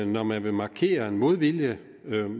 når man vil markere en modvilje